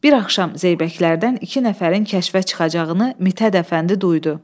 Bir axşam Zeybəklərdən iki nəfərin kəşfə çıxacağını Mit Hədəfəndi duydu.